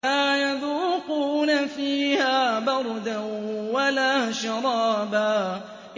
لَّا يَذُوقُونَ فِيهَا بَرْدًا وَلَا شَرَابًا